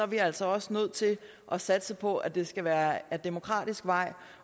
vi altså også nødt til at satse på at det skal være ad demokratisk vej